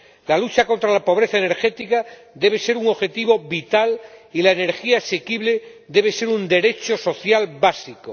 La lucha contra la pobreza energética debe ser un objetivo vital y la energía asequible debe ser un derecho social básico.